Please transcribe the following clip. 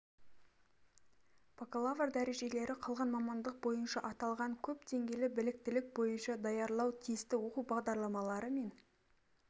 бакалавр дәрежелері қалған мамандық бойынша аталған көп деңгейлі біліктілік бойынша даярлау тиісті оқу бағдарламалары мен